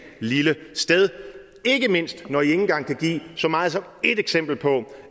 lille sted ikke mindst når i ikke engang kan give så meget som ét eksempel på